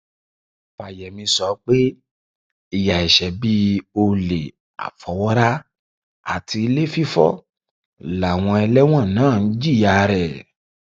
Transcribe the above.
fàyẹmí sọ pé ìyà ẹṣẹ bíi olè àfọwọrá àti ilé fífọ làwọn ẹlẹwọn náà ń jìyà rẹ